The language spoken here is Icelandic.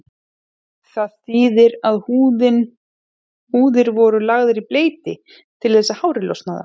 Það þýðir að húðir voru lagðar í bleyti til þess að hárið losnaði af.